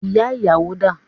Ìyá ìyàwó dà?